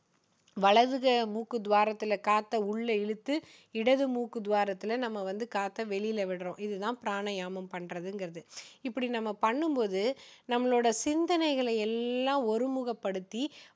வலது க~மூக்கு துவாரத்துல காற்ற உள்ள இழுத்து இடது மூக்கு துவாரத்துல நம்ம வந்து காற்ற வெளியில விடுறோம் இது தான பிராணயாமம் பண்றதுங்குறது இப்படி நம்ம பண்ணும்பொழுது நம்மளோட சிந்தனைகளை எல்லாம் ஒரு முகப்படுத்தி